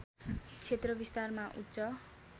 क्षेत्र विस्तारमा उच्च